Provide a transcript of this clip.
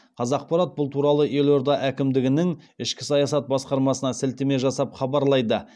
қазақпарат бұл туралы елорда әкімдігінің ішкі саясат басқармасына сілтеме жасап хабарлайды